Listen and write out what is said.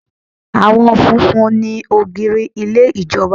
Àwọn funfun ni ògiri ilé ìjọba.